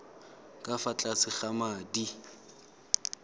ka fa tlase ga madi